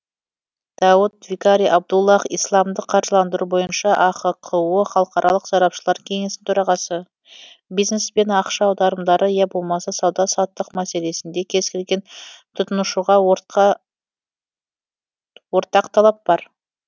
дауд викари абдуллах исламдық қаржыландыру бойынша ахқо халықаралық сарапшылар кеңесінің төрағасы бизнес пен ақша аударымдары я болмаса сауда саттық мәселесінде кез келген тұтынушыға ортақ талап бар